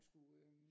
Skulle øh